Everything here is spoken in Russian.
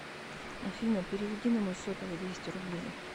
афина переведи на мой сотовый двести рублей